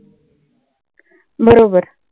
बरोबर